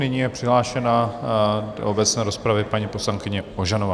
Nyní je přihlášena do obecné rozpravy paní poslankyně Ožanová.